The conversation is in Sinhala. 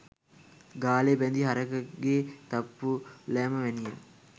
ගාලෙ බැඳි හරකෙක්ගේ තප්පු ලෑම වැනිය.